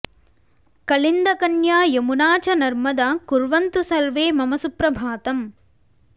कलिन्दकन्या यमुना च नर्मदा कुर्वन्तु सर्वे मम सुप्रभातम्